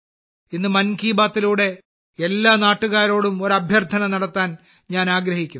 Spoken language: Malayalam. ഇന്ന് മൻ കി ബാത്തിലൂടെഎല്ലാ നാട്ടുകാരോടും ഒരു അഭ്യർത്ഥന നടത്താൻ ഞാൻ ആഗ്രഹിക്കുന്നു